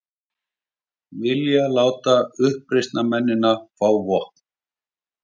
Vilja láta uppreisnarmenn fá vopn